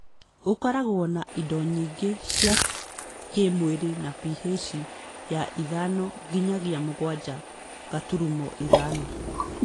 ũkoragwo na indo nyingĩ cia kĩĩmwĩrĩ na PH ya ithano nginyagia mũgwanja gaturumo ithano